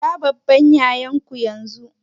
Kira babban yayan ku yanzu!